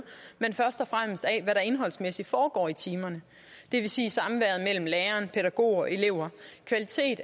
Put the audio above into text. men først og fremmest af hvad der indholdsmæssigt foregår i timerne det vil sige samværet mellem lærer pædagog og elever kvalitet